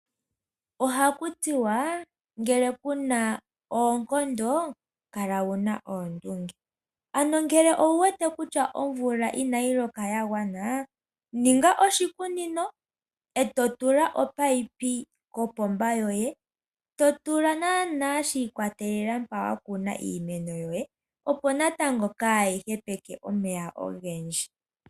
Ohaku tiwa ngele kuna oonkondo kala wuna oondunge. Ano ngele owuwete kutya omvula inayi loka yagwana, ninga oshikunino eto tula omunino kopomba yoye to tula naanaa shi ikwatelela mpa wakuna iimeno yoye, opo natango kaayi hepeke omeya ogendji.